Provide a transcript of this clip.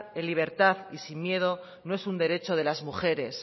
en libertad y sin miedo no es un derecho de las mujeres